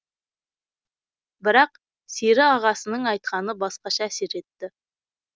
бірақ сері ағасының айтқаны басқаша әсер етті